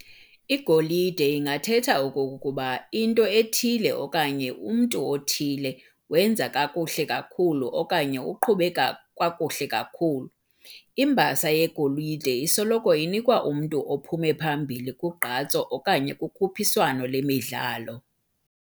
Igolide ingathetha okokuba into ethile okanye umntu othile wenza kakuhle kakhulu okanye uqhube kakuhle kakhulu. Imbasa yegolide isoloko inikwa umntu ophume phambili kugqatso okanye kukhuphiswano lwemidlalo.